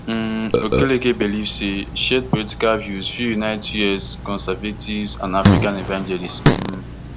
um okereke believe say shared political views fit unite us conservatives and african evangelists um